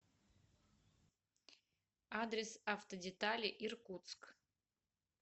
адрес автодетали иркутск